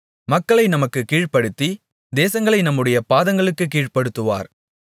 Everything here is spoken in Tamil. மக்களை நமக்கு கீழ்படுத்தி தேசங்களை நம்முடைய பாதங்களுக்குக் கீழ்ப்படுத்துவார்